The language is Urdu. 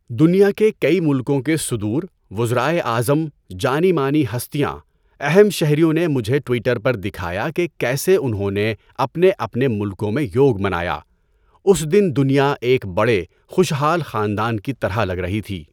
دنیا کے کئی ملکوں کے صدور، وزرائے اعظم، جانی مانی ہستیاں، اہم شہریوں نے مجھے ٹوئٹر پر دکھایا کہ کیسے انھوں نے اپنے اپنے ملکوں میں یوگ منایا۔ اس دن دنیا ایک بڑے خوشحال خاندان کی طرح لگ رہی تھی۔